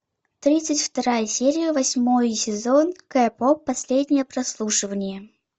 тридцать вторая серия восьмой сезон кей поп последнее прослушивание